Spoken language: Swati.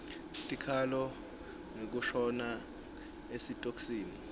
tikhalo ngekushona esitokisini